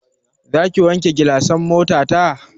Zaki wanke gilasan motata?